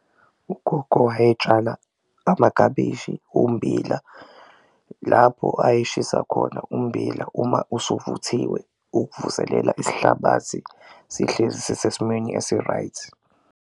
Ugogo wayetshala amakabishi, ummbila lapho ayeshisa khona ummbila uma usuvuthiwe ukuvuselela isihlabathi sihlezi sisesimweni esi-right.